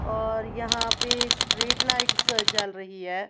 और यहां पे स्ट्रीट लाइट्स जल रही है।